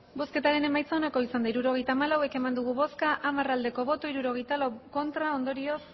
hirurogeita hamalau eman dugu bozka hamar bai hirurogeita lau ez ondorioz